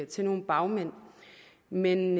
til nogle bagmænd men